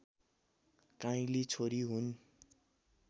काइँली छोरी हुन्